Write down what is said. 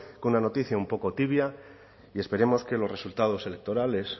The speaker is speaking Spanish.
con una noticia un poco tibia y esperemos que los resultados electorales